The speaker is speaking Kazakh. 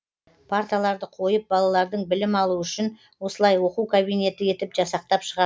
парталарды қойып балалардың білім алуы үшін осылай оқу кабинеті етіп жасақтап шығарды